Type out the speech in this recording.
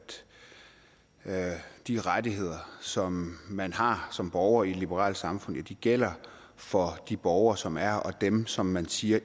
de rettigheder som man har som borger i et liberalt samfund gælder for de borgere som er og dem som man siger